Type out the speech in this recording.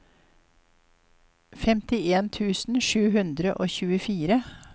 femtien tusen sju hundre og tjuefire